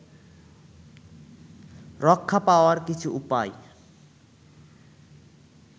রক্ষা পাওয়ার কিছু উপায়